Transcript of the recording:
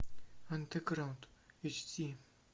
андеграунд эйч ди